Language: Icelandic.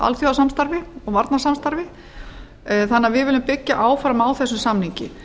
alþjóðasamstarfi og varnarsamstarfi þannig að við viljum byggja áfram á þessum samningi